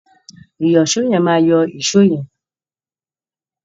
Ìyọ̀ṣó yẹn máa yọ́ èṣó yẹn.